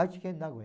Aichi Ken, Nagoya.